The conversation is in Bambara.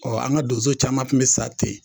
Ɔ an ga donso caman kun be sa ten